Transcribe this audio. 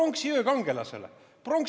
Pronksiöö kangelasele!